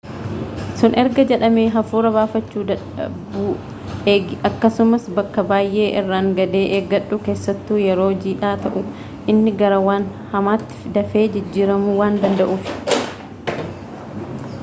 sun erga jedhamee hafuura baafachuu dadhabuueegi akkasumas bakka baay'ee irraangadee eeggadhu keessattu yeroo jidhaa ta'uu inni gara waan hamaatti dafee jijjiiramuu waan danda'uuf